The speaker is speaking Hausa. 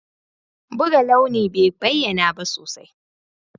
Buga launi bai bayyana ba sosai.